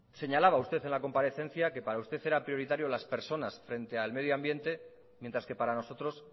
señalaba usted en la comparecencia que para usted era prioritaria las personas frente al medio ambiente mientras que para nosotros